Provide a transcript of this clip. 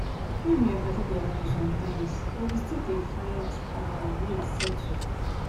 me and my paddy dey argue sometimes but we dey still find um way settle.